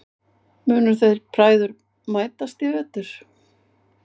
Munu þeir bræður mætast í vetur?